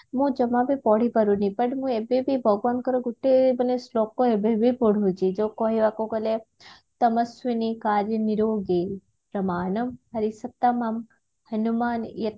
ମୁଁ ଜମା ବି ପଢିପାରୁନି but ମୁଁ ଏବେ ବି ଭଗବାନଙ୍କର ଗୁଟେ ମାନେ ଶ୍ଳୋକ ଏବେ ବି ପଢୁଛି ଯଉ କହିବାକୁ ଗଲେ